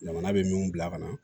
Jamana bɛ min bila ka na